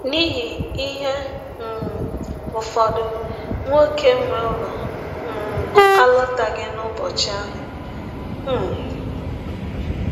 N’ihi ihe um ụfọdụ, nwọke nwe ụlọ um alọtaghị n’ụbọchị ahụ. um